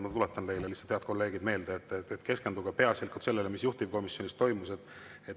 Ma tuletan teile, head kolleegid, meelde, et tuleks keskenduda peaasjalikult sellele, mis juhtivkomisjonis toimus.